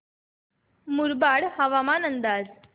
मुरबाड हवामान अंदाज